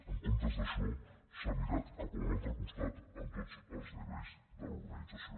en comptes d’això s’ha mirat cap a un altre costat en tots els nivells de l’organització